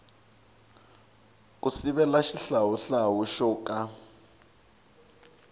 ku sivela xihlawuhlawu xo ka